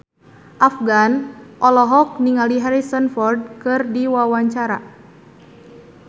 Afgan olohok ningali Harrison Ford keur diwawancara